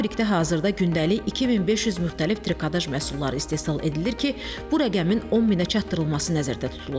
Fabrikdə hazırda gündəlik 2500 müxtəlif trikotaj məhsulları istehsal edilir ki, bu rəqəmin 10000-ə çatdırılması nəzərdə tutulur.